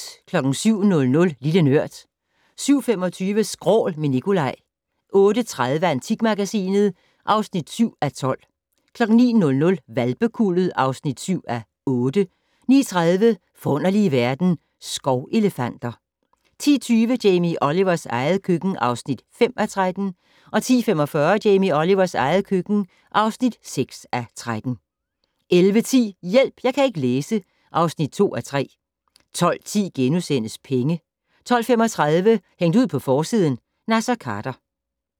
07:00: Lille Nørd 07:25: Skrål - med Nicolaj 08:30: Antikmagasinet (7:12) 09:00: Hvalpekuldet (7:8) 09:30: Forunderlige verden - Skovelefanter 10:20: Jamie Olivers eget køkken (5:13) 10:45: Jamie Olivers eget køkken (6:13) 11:10: Hjælp! Jeg kan ikke læse (2:3) 12:10: Penge * 12:35: Hængt ud på forsiden: Naser Khader